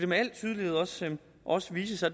med al tydelighed også også vise sig